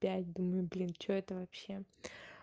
пять думаю блин что это вообще